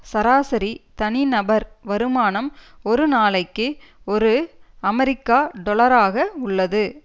சராசரி தனிநபர் வருமானம் ஒரு நாளைக்கு ஒரு அமெரிக்கா டொலராக உள்ளது